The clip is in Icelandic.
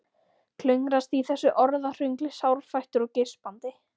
Klöngrast í þessu orðahröngli sárfættur og geispandi.